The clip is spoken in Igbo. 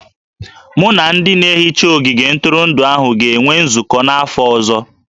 Mụ na ndị na-ehicha ogige ntụrụndụ ahụ ga-enwe nzụkọ n'afọ ọzọ